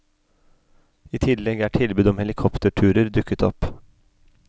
I tillegg er tilbud om helikopterturer dukket opp.